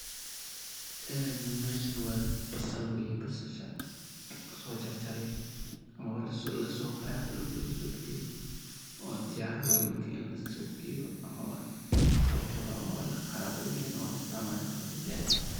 Een meshan wa basal weye, basasha lasojarjare oo lasofaqe oo dulka lasobixiye oo diyar waye marka la suq geyo amaba lagado ama laqado oo laistacmali karo aya garte.